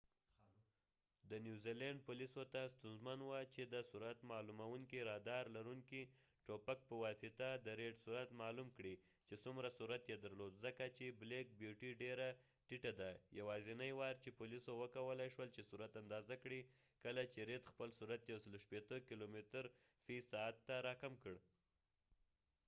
د نوزیلینډ پولیسو ته ستونزمن وه چې د سرعت معلومونکې رادار لرونکې ټوپک په واسطه د ریډ سرعت معلوم کړي چې څومره سرعت یې درلود ځکه چې بلیک بیوټی ډیره ټیټه ده یواځنی وار چې پولیسو وکولای شول چې سرعت اندازه کړي کله چې رید خپل سرعت 160 کیلومتره فی ساعت ته راکم کړ